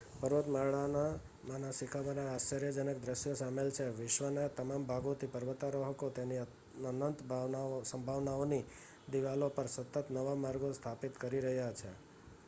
પર્વતમાળામાંના શિખરોમાં આશ્ચર્યજનક દ્રશ્યો શામેલ છે વિશ્વના તમામ ભાગોથી પર્વતારોહકો તેની અનંત સંભાવનાઓની દિવાલો પર સતત નવાં માર્ગો સ્થાપિત કરી રહ્યા છે